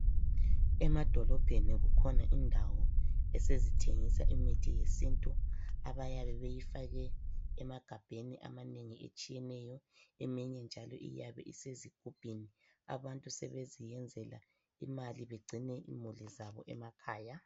Emadolobheni kukhona indawo, esezithengisa imithi yesintu. Abayabe beyifake emagabheni amanengi etshiyeneyo. Eminye njalo iyabe isezigubhini. Abantu sebeziyenzela imali. Begcine imuli zabo emakhaya.